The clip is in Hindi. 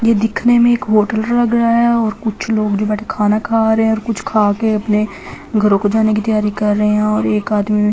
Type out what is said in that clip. ये दिखने में एक होटल लग रहा है और कुछ लोग जो बैठे खाना खा रहे हैं और कुछ खा के अपने घरों को जाने की तैयारी कर रहे हैं और एक आदमी --